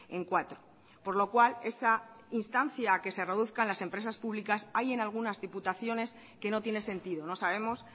en cuatro por lo cual esa instancia a que se reduzcan las empresas públicas hay en algunas diputaciones que no tiene sentido no sabemos